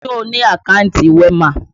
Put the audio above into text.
Ṣé o ni àkántì WEMA?